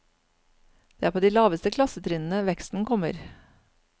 Det er på de laveste klassetrinnene veksten kommer.